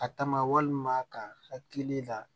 A ta ma walima ka hakili la